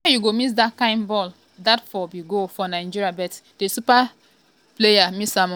why you go miss dat kain ball?dat for be goal for nigeria but di um player um miss am ooooo.